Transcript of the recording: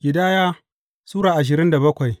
Ƙidaya Sura ashirin da bakwai